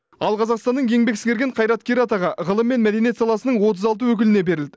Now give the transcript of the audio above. ал қазақстанның еңбек сіңірген қайраткері атағы ғылым мен мәдениет саласының отыз алты өкіліне берілді